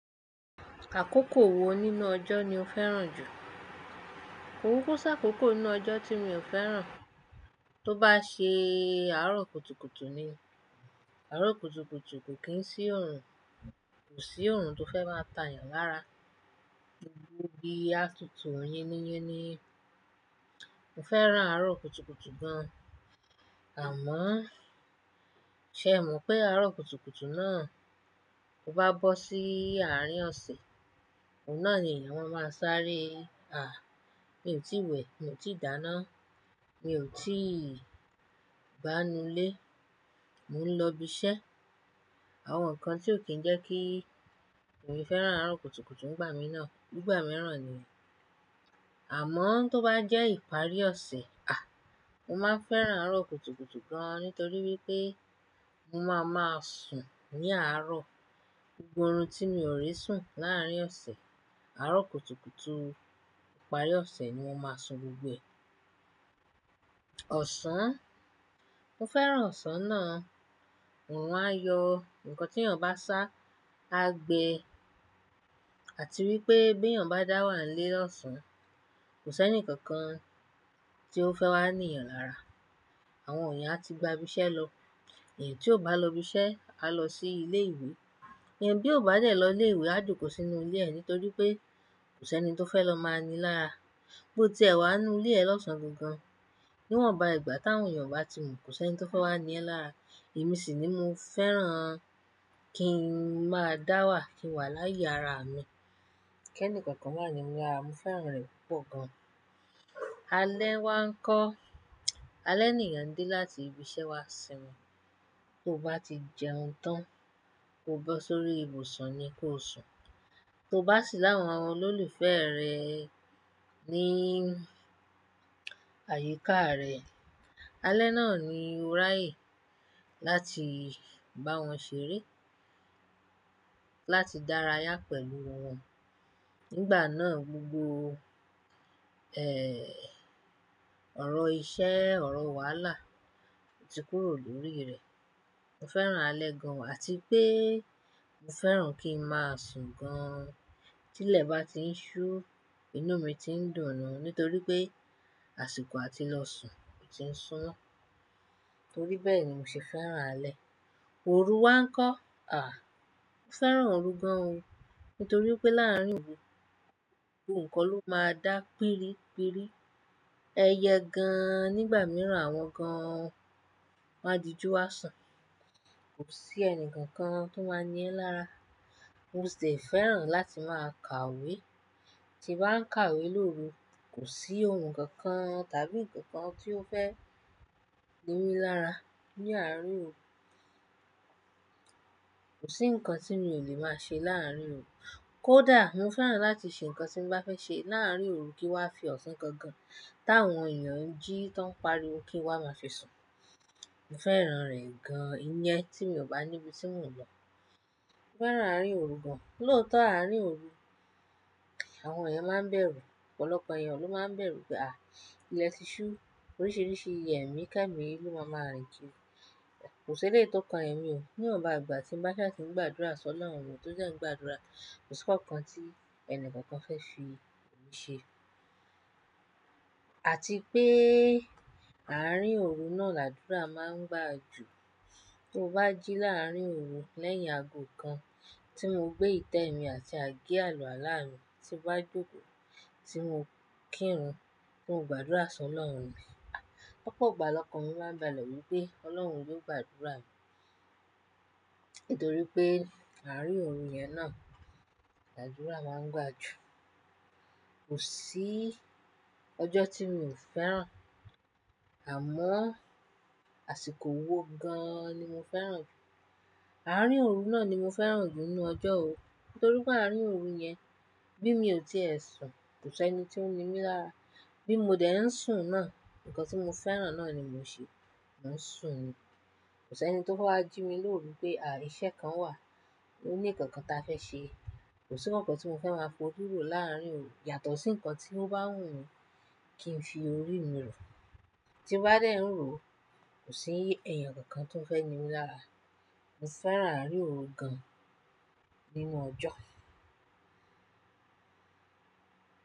Àkókò wo nínú ọjọ́ ni o fẹ́ràn jù? Kò kuku sakókó ínú ọjọ́ tí mi ò fẹ́ràn. Tó bá ṣe àárọ̀ kùtùkùtù ni. Àárọ̀ kùtùkùtù kò kí ń sí orun, kò sí orun tó fẹ́ máa tà yàn lára. Gbogbo igi atùtù, yiniyini. Mo fẹ́ràn àárọ̀ kùtùkùtù gan. Àmọ́, ṣẹ o mọ̀ pé àárọ̀ kùtùkùtù náà tó bá bọ́ sí àárín ọ̀sẹ̀, ọ̀un na ni eeyan máa ma sáré, "à, mi ò tíì wẹ̀, mi ò tí ì dáná, mi ò tí ì gbá inú ilé, mo ń lọ ibi iṣẹ́." Àwọn nǹkan tí ó kí ń jẹ́ kí èmi fẹ́ràn àárọ̀ kùtùkùtù ń gbà mí náà. Nígbà mìíràn ni, àmọ́ tó bá jẹ́ ìparí ọ̀sẹ̀, mo máa fẹ́ràn àárọ̀ kùtùkùtù gan nítorí wípé mo máa ma sùn ní àárọ̀. Gbogbo orun tí mi ò ribsùn láàárín ọ̀sẹ̀, àárọ̀ kùtùkùtù ìparí ọ̀sẹ̀ ni mo máa sùn gbogbo ẹ. Ọ̀sán, mo fẹ́ràn ọ̀sán náà. Orun a yọ nǹkan tí èèyàn bá sá, á gbe. Àti wípé bí èèyàn bá dá wà nílé ọ̀sán, kò sẹ́ni kankan tí ó fẹ́ wá ní yan lára. Àwọn èèyàn á ti gba ibi iṣẹ́ lọ. Ẹeyan tí ò bá lọ ibi iṣẹ́ á lọ sí ilé ìwé. Ẹeyan bí ó bá dẹ̀ lọ ilé ìwé á jòkò sínú ilé ẹ̀ nítorí pé kò sẹ́ni tó fẹ́ lọ máa ni lára. Bo tí ẹ wà ínú ilé ẹ lọ́sàn-án gan-an, níwọ̀nba ìgbà táwọn èèyàn bá ti mọn kò sẹ́ni tó fẹ́ wá ní ẹ lára. Èmi sì ni mo fẹ́ràn kí n máa dá wà, kí n wà láyé ara mi. Kẹ́ni kankan máa ni mi lara, mo fẹ́ràn rẹ̀ púpọ̀ gan. Alẹ́ wá ń kọ́. Alẹ́ niyan n dé láti ibi iṣẹ́ wá sin mi Tó bá ti jẹun tán, kó bọ́ sórí ibùsùn ni kó sùn. Tó bá sì láwọn àwọn olólùfẹ́ rẹ ní àyíká rẹ̀, alẹ́ náà ni ó ráyè láti bá wọn ṣeré, láti dára yá pẹ̀lú wọ́n. Nígbà náà, gbogbo, ọ̀rọ̀ iṣẹ́, ọ̀rọ̀ wàhálà ti kúrò lórí rẹ̀. Mo fẹ́ràn alẹ́ gan o àti pé mo fẹ́ràn kí n máa sùn gan. Tí ilẹ̀ bá ti ń ṣú, inú mi ti ń dùn nù nítorí pé àsìkò àti lọ sùn ti ń súnmọ́. Torí bẹ́ẹ̀ ni mo ṣe fẹ́ràn alẹ́. Òru wá ń kọ́. Mo fẹ́ràn òru gan o nítorí pé láàárín òru, gbogbo nǹkan ló máa dá pírípírí. Ẹyẹ gan, nígbà mìíràn àwọn gan wọn máa di ju àsùn. Kò sí ẹnì kankan tó máa ní ẹ lára. Mo sì fẹ́ràn láti máa kàwé. Ti bàá ń kàwé lóru, kò sí ohun kankan tàbí ǹkan kan tí ó fẹ́ ni mi lára ní àrin òru. Kò sí nǹkan tí mi ò lè máa ṣe láàárín òru. Kódà mo fẹ́ràn láti ṣe nǹkan tí mo bá fẹ́ ṣe láàárín òru kí wàá fi ọ̀sán kan gan táwọn èèyàn ń jí tó ń pariwo kí wàá máa fi sùn. Mo fẹ́ràn rẹ̀ gan. Iyen tí mi ò bá níbi tí mò ń lọ. Mo fẹ́ràn àárín òru gan. Lóòótọ́, àárín òru, àwọn èèyàn máa ń bẹ̀rù. Ọ̀pọ̀lọpọ̀ èèyàn ló máa ń bẹ̀rù pé ilẹ̀ ti ṣú, oríṣiríṣi ẹ̀mikẹmi ni ó máa ma rìn ki Kò sí ẹlẹyi tó kan ẹ̀mí o. Níwọ̀nba ìgbà tí ń bá ṣá tí ń gbàdúrà si lọ́run mi, to dẹ́ ń gbàdúrà, kò sí nǹkan tí ẹnì kankan fẹ́ fi ṣe. Àti pé àárín òru náà làdúrà máa ń gbà jù. Tó bá jí láàárín òru lẹ́yìn ago kan tí mo gbé ìtẹ́ mi àti àgé àlùàlá mi tí ba joko tí mo kírun, ti mo gbàdúrà sọ lọ́run mi lọpọ̀ igba lọkàn mi máa ń bálẹ̀ wípé Ọlọ́run yóò gbàdúrà mi nítorí pé àárín òru yẹn náà làdúrà máa ń gbà jù. Kò sí ọjọ́ tí mi ò fẹ́ràn, àmọ́ àsìkò wo gan ni mo fẹ́ràn jù. Àárín òru náà ni mo fẹ́ràn jù nínú ọjọ́ o torí pé àárín òru yẹn bí mi ò tí è sùn, kò sí ẹni tí ó ń ní mi lára. Bí mo dẹ̀ ń sùn náà, nǹkan tí mo fẹ́ràn náà ni mo ń ṣe, mò ń sùn. Kò sí ẹni tó fẹ́ wá jí mi lóru pé à, iṣẹ́ kan wà, o ní nǹkan kan ta fẹ́ ṣe. Kò sí nǹkan kan tí mo fẹ́ máa fori ro láàárín òru yàtọ̀ sí nǹkan tí ó bá wùn mi kí n fi orí mi rò. Ti mo bá dẹ̀ ń ro, kò sí eeyàn kankan tó fẹ́ ní mi lára. Mo fẹ́ràn àárín òru gan nínú ọjọ́.